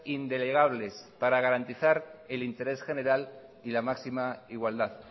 indelegables para garantizar el interés general y la máxima igualdad